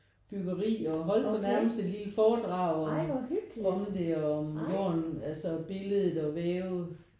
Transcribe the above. Byggeri og holdte sådan nærmest et lille foredag om det og om altså billedet og væv